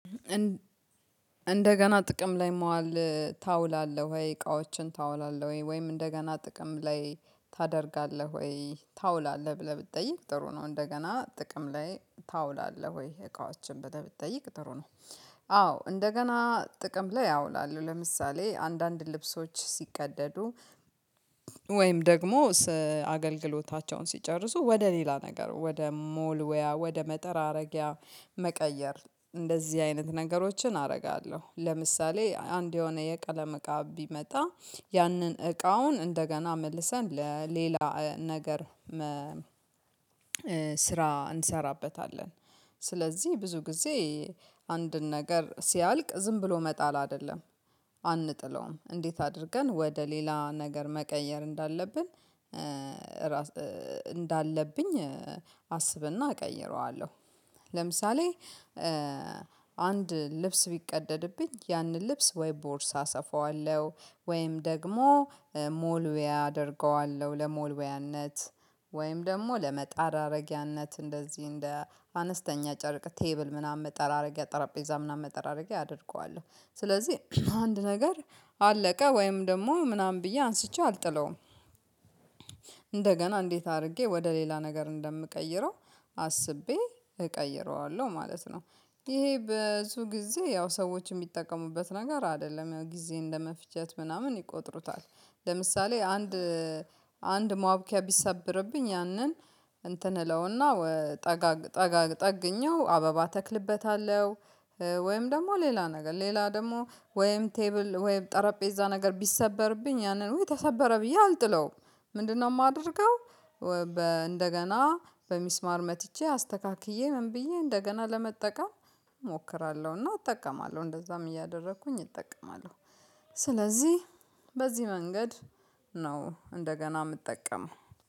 እንደገና ጥቅም ላይ መዋል ታውላለህ ወይ እቃዎችን ታውላለህ ወይ ወይም እንደገና ጥቅም ላይ ታደርጋለህ ወይ ታውላለህ ብለህ ብትጠይቅ ጥሩ ነው። እንደገና ጥቅም ላይ ታውላለህ ወይ እቃዎችን ብለህ ብትጠይቅ ጥሩ ነው አዎ እንደገና ጥቅም ላይ አውላለሁ። ለምሳሌ አንዳንድ ልብሶች ሲቀደዱ ወይም ደግሞ አገልግሎታቸውን ሲጨርሱ ወደ ሌላ ነገር ወደ መወልዎያ ወደ መጠራረጊያ መቀየር። እንደዚህ አይነት ነገሮችን አደርጋለሁ ለምሳሌ አንድ የሆነ የቀለም እቃ ቢመጣ ያንን እቃውን እንደገና መልሰን ለሌላ ነገር ስራ እንሰራበታለን። ስለዚህ ብዙ ጊዜ አንድን ነገር ሲያልቅ ዝም ብሎ መጣል አይደለም አንጥለውም። እንዴት አድርገን ወደ ሌላ ነገር መቀየር እንዳለብን እንዳለብኝ አስብና እቀይረዋለሁ። ለምሳሌ አንድ ልብስ ቢቀደድብኝ ያንን ልብስ ወይ ቦርሳ ሰፋዋለሁ ወይም ደግሞ መወልወያ አደርገዋለሁ ለመወልወያነት ወይም ደግሞ ለመጠራረጊያነት እንደዚህ እንደ አነስተኛ ጨርቅ ቴብል ምናምን መጠራረጊያ ጠረጴዛ ምናምን መጠራረጊያ አደርገዋለሁ። ስለዚህ አንድ ነገር አለቀ ወይም ደግሞ ምናምን ብዬ አንስቼ አልጥለውም። እንደገና እንዴት አድርጌ ወደ ሌላ ነገር እንደምቀይረው አስቤ እቀይረዋለሁ ማለት ነው። ይሄ ብዙ ጊዜ ያው ሰዎች የሚጠቀሙበት ነገር አይደለም። ያው ጊዜ እንደመፍጀት ምናምን ይቆጥሩታል። ለምሳሌ አንድ አንድ ማቡኪያ ቢሰብርብኝ ያንን እንትን እለውና ጠጋግ ጠጋግ ጠግኜው አበባ ተክልበታለሁ ወይም ደግሞ ሌላ ነገር ሌላ ደግሞ ወይም ቴብል ወይም ጠረጴዛ ነገር ቢሰበርብኝ ያንን ውይ ተሰበረ ብዬ አልጥለውም። ምንድነው ማደርገው? በ እንደገና በሚስማር መትቼ አስተካክዬ ምን ብዬ እንደገና ለመጠቀም እሞክራለሁ እና እጠቀማለሁ እንደዛም እያደረኩኝ እጠቀማለሁ። ስለዚህ በዚህ መንገድ ነው እንደገና ምጠቀመው።